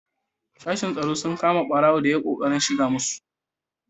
Sashen tsaro sun kama ɓarago da ya yi ƙoƙarin shiga masau.